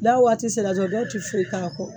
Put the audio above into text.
N'a waati sera jɔ dɔw ti foyi k'a kɔ